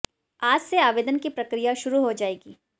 आज से आवेदन की प्रक्रिया शुरू हो जाएगी